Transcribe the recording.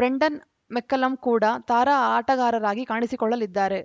Brendan McCullum ಕೂಡ ತಾರಾ ಆಟಗಾರರಾಗಿ ಕಾಣಿಸಿಕೊಳ್ಳಲಿದ್ದಾರೆ